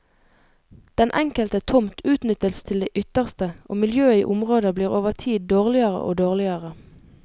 Den enkelte tomt utnyttes til det ytterste, og miljøet i området blir over tid dårligere og dårligere.